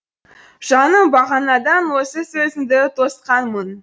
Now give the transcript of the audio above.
жаным бағанадан осы сөзіңді тосқанмын